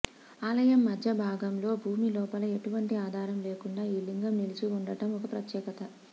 ఆలయం మధ్యభాగంలో భూమిలోపల ఎటువంటి ఆధారం లేకుండా ఈ లింగం నిలిచి ఉండడం ఒక ప్రత్యేకత